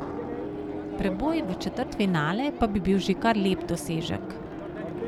Preboj v četrtfinale pa bi bil že kar lep dosežek.